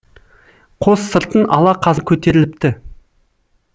қос сыртын ала қаз көтеріліпті